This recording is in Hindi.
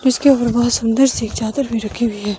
इसके ऊपर बहुत सुंदर सी चादर भी रखी हुई है।